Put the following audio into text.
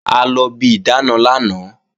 A lọ bi ìdáàna lánàá